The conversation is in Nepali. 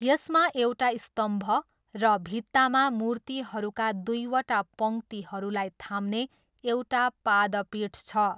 यसमा एउटा स्तम्भ र भित्तामा मूर्तिहरूका दुईवटा पङ्क्तिलाई थाम्ने एउटा पादपीठ छ।